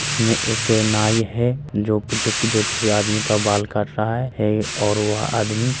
इसमें एक नाई है जो कुछो-कुछो किसी आदमी का बाल काट रहा है है और वह आदमी --